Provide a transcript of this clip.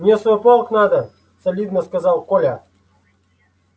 мне в свой полк надо солидно сказал коля